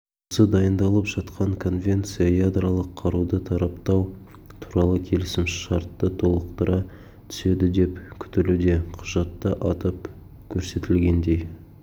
осы дайындалып жатқан конвенция ядролық қаруды таратпау туралы келісімшартты толықтыра түседі деп күтілуде құжатта атап көрсетілгендей